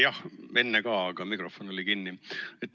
Jah, enne oli ka, aga mikrofon oli kinni.